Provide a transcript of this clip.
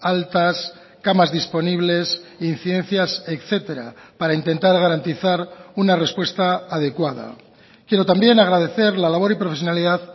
altas camas disponibles incidencias etcétera para intentar garantizar una respuesta adecuada quiero también agradecer la labor y profesionalidad